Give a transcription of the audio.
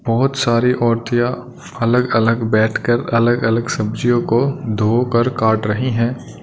बहुत सारी औरतिया अलग अलग बैठकर अलग अलग सब्जीयों को धोकर काट रहीं हैं।